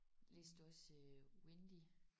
Læste du også øh Wendy?